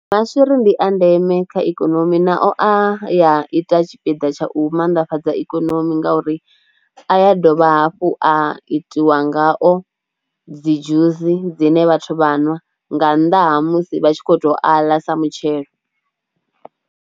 Maswiri ndi a ndeme kha ikonomi nao a a ita tshipiḓa tsha u maanḓafhadza ikonomi ngauri a ya dovha hafhu a itiwa ngao dzi dzhusi dzine vhathu vha ṅwa nga nnḓa ha musi vha tshi khou tou aḽa sa mutshelo.